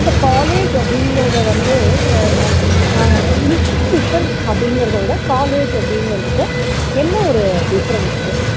இல்ல college அப்படிங்குறத வந்து அ வ அஹ் institution அப்படிங்குறத விட college அப்படிங்குறதுக்கும் என்ன ஒரு difference